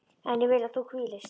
En ég vil að þú hvílist.